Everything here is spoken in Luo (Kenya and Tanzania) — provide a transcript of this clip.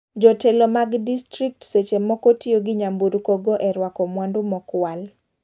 Jotelo mag distrikt seche moko tiyo gi nyamburko go e ruako mwandu mokwal.